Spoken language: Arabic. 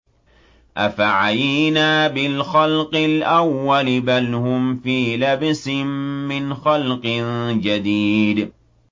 أَفَعَيِينَا بِالْخَلْقِ الْأَوَّلِ ۚ بَلْ هُمْ فِي لَبْسٍ مِّنْ خَلْقٍ جَدِيدٍ